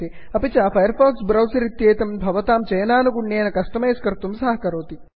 अपि च Firefox browser इत्येतं भवतां चयनानुगुण्येन कस्टमैस् कर्तुं सहकरोति